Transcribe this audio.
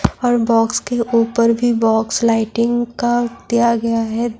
اور باکس کے اوپر بھی باکس لائٹنگ کا دیا گیا ہے-